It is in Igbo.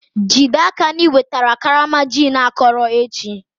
Jide n'aka na i wetara karama gin akọrọ echi!